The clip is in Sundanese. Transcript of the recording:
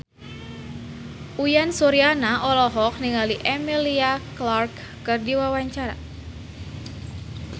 Uyan Suryana olohok ningali Emilia Clarke keur diwawancara